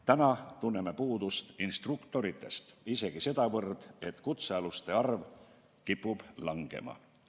Praegu tunneme puudust instruktoritest isegi sedavõrd, et kutsealuste arv kipub langema.